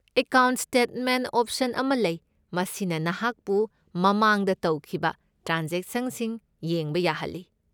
Account statement option ꯑꯃ ꯂꯩ, ꯃꯁꯤꯅ ꯅꯍꯥꯛꯄꯨ ꯃꯃꯥꯡꯗ ꯇꯧꯈꯤꯕ ꯇ꯭ꯔꯥꯟꯖꯦꯛꯁꯟꯁꯤꯡ ꯌꯦꯡꯕ ꯌꯥꯍꯜꯂꯤ꯫